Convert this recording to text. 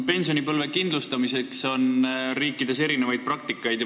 Pensionipõlve kindlustamiseks on riikides erinevaid praktikaid.